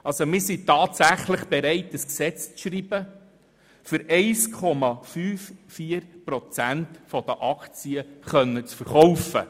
Wir sind tatsächlich bereit, ein Gesetz zu schreiben, um 1,54 Prozent der Aktien verkaufen zu können.